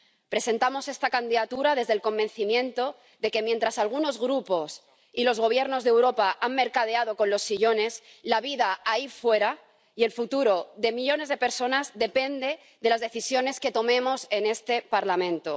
Presentamos esta candidatura desde el convencimiento de que, mientras algunos grupos y los gobiernos de Europa han mercadeado con los sillones, la vida ahí fuera y el futuro de millones de personas dependen de las decisiones que tomemos en este Parlamento.